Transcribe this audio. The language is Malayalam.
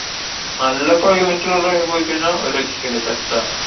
നല്ല climate ഉള്ള time ല് പോയി കഴിഞ്ഞാ ഒരു രക്ഷേം ഇല്ല. set ആ.